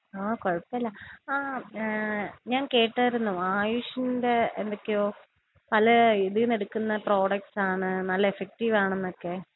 ആഹ് കൊഴപ്പല്ല. ആഹ് ഏഹ് ഞാൻ കേട്ടായിരുന്നു. ആയുഷിന്റെ എന്തൊക്കെയോ പല ഇതീന്നെടുക്കുന്ന പ്രോഡക്ട്സ് ആണ് നല്ല എഫക്റ്റീവാണെന്നൊക്കെ.